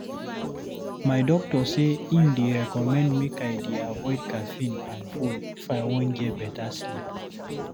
My doctor say im dey recommend make I dey avoide caffeine and phone if I wan get better sleep.